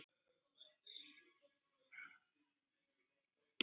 Ásgeir: Og bíllinn bara keyrir?